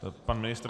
Pan ministr?